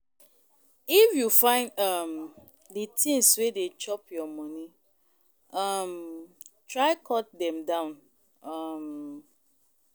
If you find um di tins wey dey chop your moni, um try cut dem down. um